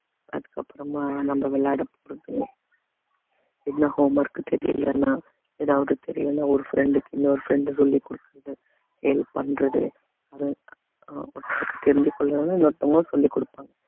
அதுக்கப்புறமா நம்ம விளையாட போறது என்ன homework தெரியலேன்னா ஏதாவது தெரியலன்னா ஒரு friend க்கு இன்னொரு friend சொல்லிக் கொடுக்கிறது help பண்றது இன்னொருத்தவங்க சொல்லிக் கொடுப்பாங்க